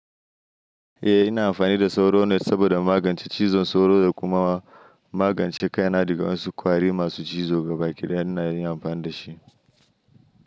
Eh ina amfani da sauro net saboda magance cizon sauro da kuma magance kaina daga wasu ƙwari masu cizo ga baki ɗaya ina amfani da shi.